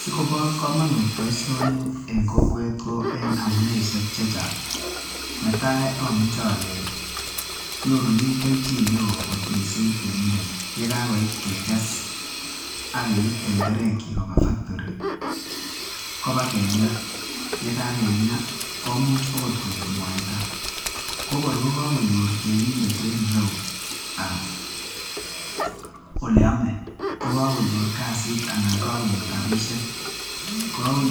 Sikoba kamanut baishoni en kokwet Koba amuneishek chechang netai amuche ale nyorunen kelchin non kot mising temindet yekakoit kekes ak keib tenderek chik Koba factori akoba kenga ak yekakenga komuch okot Koi mwaita kokor kakonyor temindet en ireyu oleyame AK kasit anan kokakonyor